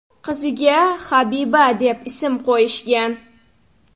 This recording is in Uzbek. Qiziga Habiba deb ism qo‘yishgan.